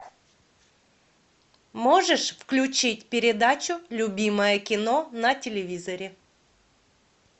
можешь включить передачу любимое кино на телевизоре